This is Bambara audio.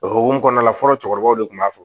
O hokumu kɔnɔna la fɔlɔ cɛkɔrɔbaw de kun b'a fɔ